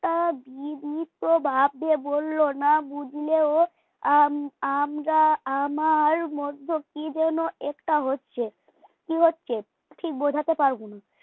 লোকটা বিনীতভাবে বলল না বুঝলেও আম আমরা আমার মধ্যে কি যেন একটা হচ্ছে কি হচ্ছে ঠিক বোঝাতে পারবো না